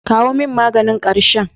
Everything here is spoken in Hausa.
Kawo min maganin ƙarshen.